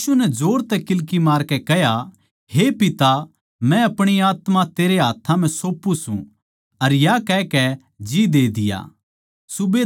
अर यीशु नै जोर तै किल्की मारकै कह्या हे पिता मै अपणी आत्मा तेरै हाथ्थां म्ह सौंप्पू सूं अर या कह के जी दे दिया